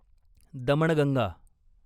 Damanganga